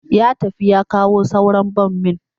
Ya tafi ya kawo sauran bommin